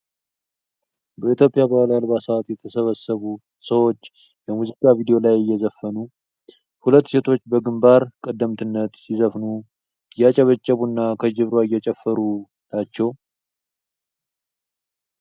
በኢትዮጵያ ባህላዊ አልባሳት የተሰበሰቡ ሰዎች የሙዚቃ ቪዲዮ ላይ እየዘፈኑ። ሁለቱ ሴቶች በግንባር ቀደምትነት ሲዘፍኑ እያጨበጨቡ ና ከጀርባ እየጨፈሩ ናቸው ።